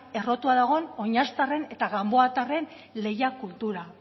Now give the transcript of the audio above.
errotua oinaztarren eta ganboatarren lehia kultura